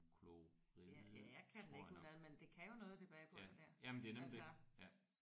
Ja jeg kan den ikke udenad men det kan jo noget det bagepulver der altså